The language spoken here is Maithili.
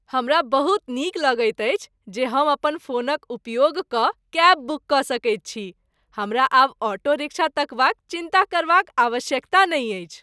हमरा बहुत नीक लगैत अछि जे हम अपन फोनक उपयोग कऽ कैब बुक कऽ सकैत छी। हमरा आब ऑटो रिक्शा तकबाक चिन्ता करबाक आवश्यकता नहि अछि।